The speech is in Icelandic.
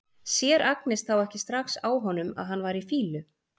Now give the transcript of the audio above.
Sér Agnes þá ekki strax á honum að hann var í fýlu?